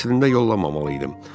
Əslində yollamamalı idim.